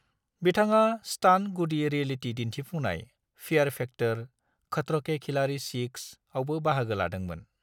बिथाङा स्टान्ट-गुदि रियेलिटी दिन्थिफुंनाय फियेर फैक्टर: खतरों के खिलाड़ी-6 आवबो बाहागो लादोंमोन।